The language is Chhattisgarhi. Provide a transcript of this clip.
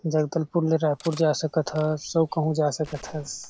जगदलपुर ले रायपुर जा सकत हस अउ कहूँ जा सकत हस।